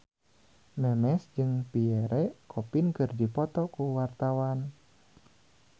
Memes jeung Pierre Coffin keur dipoto ku wartawan